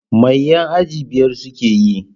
Mai yan aji biyar suke yi?